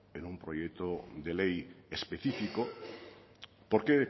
en un proyecto de ley especifico porque